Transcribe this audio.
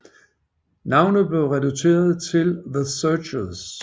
Navnet blev reduceret til The Searchers